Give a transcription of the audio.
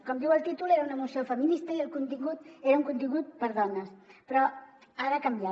com diu el títol era una moció feminista i el contingut era un contingut per a dones però ara ha canviat